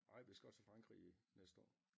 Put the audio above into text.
Ej vi skal også til Frankrig i næste år